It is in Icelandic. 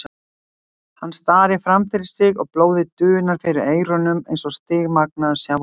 Hann starir framfyrir sig og blóðið dunar fyrir eyrunum eins og stigmagnandi sjávarniður.